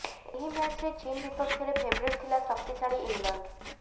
ଏହି ମ୍ୟାଚରେ ଚୀନ ବିପକ୍ଷରେ ଫେଭରିଟ ଥିଲା ଶକ୍ତିଶାଳୀ ଇଂଲଣ୍ଡ